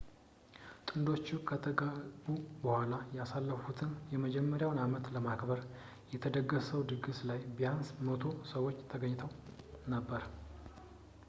ጥንዶቹ ከተጋቡ በኋላ ያሳለፉትን የመጀመሪያውን አመት ለማክበር በተደገሰው ድግስ ላይ ቢያንስ 100 ሰዎች ተገኝተው ነበር